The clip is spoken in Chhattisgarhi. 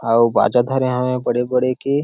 अउ बाजा धरे हवे बड़े - बड़े के.--